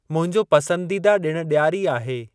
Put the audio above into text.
मुंहिंजो पसंदीदा ॾिणु ॾियारी आहे।